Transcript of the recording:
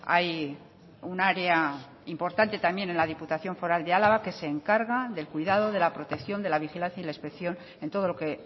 hay un área importante también en la diputación foral de álava que se encarga del cuidado de la protección de la vigilancia y la inspección en todo lo que